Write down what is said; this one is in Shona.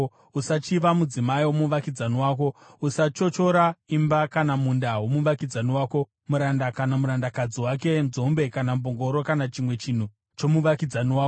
Usachiva mudzimai womuvakidzani wako. Usachochora imba kana munda womuvakidzani wako, muranda kana murandakadzi wake, nzombe kana mbongoro kana chimwe chinhu chomuvakidzani wako.”